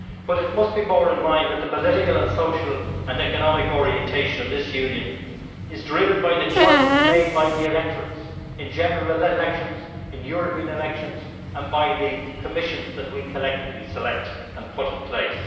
It must be borne in mind that the political and social and economic orientation of this Union is driven by the choices made by the electorates in general elections, in European elections and by the commissions that we collectively select and put in place.